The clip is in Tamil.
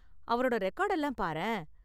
அவரோட ரெக்கார்டெல்லாம் பாரேன்.